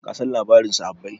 kasan labarin sahabbai